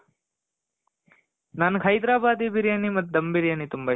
ನನಗ್ ಹೈದ್ರಬಾದಿ ಬಿರಿಯಾನಿ ಮತ್ತೆ ದಮ್ ಬಿರಿಯಾನಿ ತುಂಬ ಇಷ್ಟ .